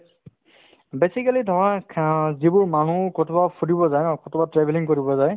basically যিবোৰ মানুহ ক'ৰবাত ফুৰিব যায় বা ক'ৰবাত travelling কৰিব যায়